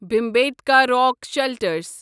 Bhimbetka rock shelters